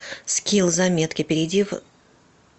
скилл заметки перейди в